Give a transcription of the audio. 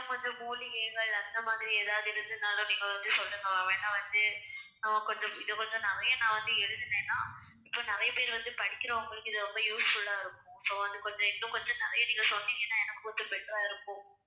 இன்னும் கொஞ்சம் மூலிகைகள் அந்த மாதிரி ஏதாவது இருந்ததுன்னாலும் நீங்க வந்து சொல்லுங்க ma'am ஏன்னா வந்து ஆஹ் கொஞ்சம் இதை கொஞ்சம் நிறைய நான் வந்து எழுதினேன்னா இப்ப நிறைய பேர் வந்து படிக்கிறவங்களுக்கு இது ரொம்ப useful ஆ இருக்கும் so வந்து கொஞ்சம் இன்னும் கொஞ்சம் நிறைய நீங்க சொன்னீங்கன்னா எனக்கு கொஞ்சம் better ஆ இருக்கும்